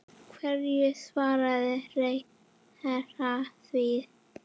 Hverju svarar ráðherra því?